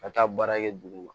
Ka taa baara kɛ duguma